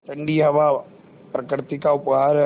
ठण्डी हवा प्रकृति का उपहार है